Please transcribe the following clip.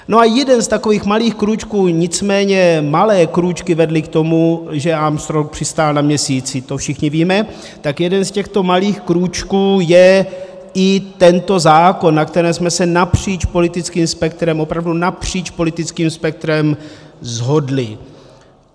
No a jeden z takových malých krůčků, nicméně malé krůčky vedly k tomu, že Armstrong přistál na Měsíci, to všichni víme, tak jeden z těchto malých krůčků je i tento zákon, na kterém jsme se napříč politickým spektrem, opravdu napříč politickým spektrem shodli.